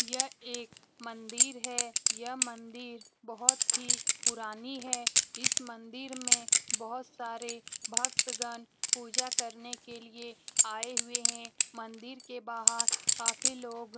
यह एक मंदिर है यह मंदिर बहुत ही पुरानी है इस मंदिर मे बहुत सारे भक्तगण पूजा करने के लिए आए हुए है मंदिर के बाहर काफी लोग --